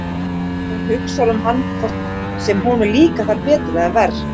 Hún hugsar um hann hvort sem honum líkar það betur eða verr.